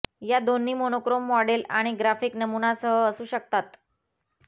हे दोन्ही monochrome model आणि ग्राफिक नमुनासह असू शकतात